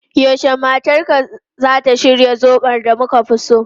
Yaushe matarka zata shirya zobo da muka fi so?